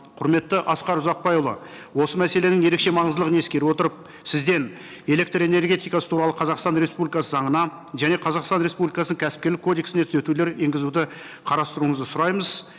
құрметті асқар ұзақбайұлы осы мәселенің ерекше маңыздылығын ескере отырып сізден электрэнергетикасы туралы қазақстан республикасы заңына және қазақстан республикасының кәсіпкерлік кодексіне түзетулер енгізуді қарастыруыңызды сұраймыз